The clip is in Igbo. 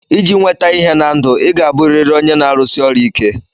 Iji nweta ihe na ndụ, ị ga-abụrịrị onye na-arụsi ọrụ ike.